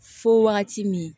Fo wagati min